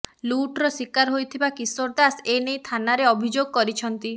ଲୁଟ୍ର ଶିକାର ହୋଇଥିବା କିଶୋର ଦାସ ଏ ନେଇ ଥାନାରେ ଅଭିଯୋଗ କରିଛନ୍ତି